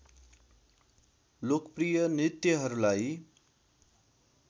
लोकप्रिय नृत्यहरूलाई